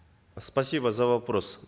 спасибо за вопрос